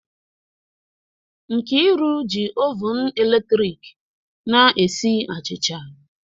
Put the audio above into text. Nkriu ji oven eletrik na-esi achịcha